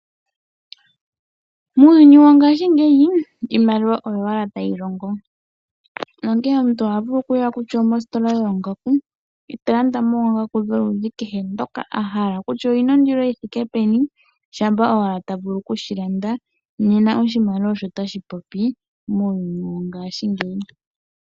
Muuyuni wongaashingeyi iimaliwa oyo owala tayi longo nongeyi omuntu oha vulu okuya kutya omositola yoongaku eta landa mo oongaku dholudhi kehe dhoka ahala kutya odhina ondilo yithike peni shampa owala ta vulu okushi landa nena oshimaliwa osho tashi popi muuyuni wongaashingeyi